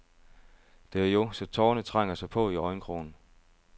Det er jo, så tårerne trænger sig på i øjenkrogen.